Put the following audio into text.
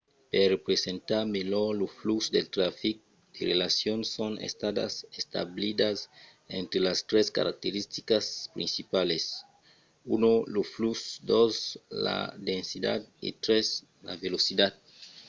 per representar melhor lo flux del trafic de relacions son estadas establidas entre las tres caracteristicas principalas: 1 lo flux 2 la densitat e 3 la velocitat